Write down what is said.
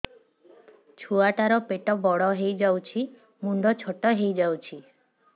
ଛୁଆ ଟା ର ପେଟ ବଡ ହେଇଯାଉଛି ମୁଣ୍ଡ ଛୋଟ ହେଇଯାଉଛି